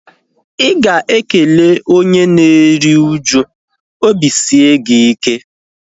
Ịga ekele onye na-eri uju "obi sie gị ike"